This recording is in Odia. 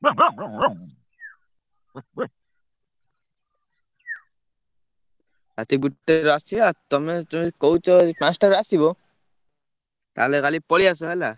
ରାତି ଗୋଟେରୁ ଆସିଆ ତମେ ଯଦି କହୁଛ, ଏଇ ପାଞ୍ଚଟାରେ ଆସିବ, ତାହେଲେ କାଲି ପଳେଇଆସ ହେଲା।